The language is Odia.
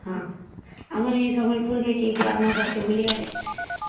ହଁ ଆମର ଏଇ ସମୟେ ଫୁଲ ଦେଖୀକେ ଆମର ଘରକେ ବୁଲି ଅଇଲେ